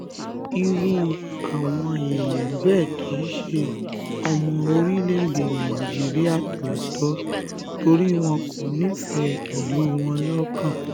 irú àwọn èèyàn bẹ́ẹ̀ kì í ṣe ọmọ orílẹ̀-èdè nàìjíríà tòótọ́ torí wọn kò nífẹ̀ẹ́ ìlú wọn lọ́kàn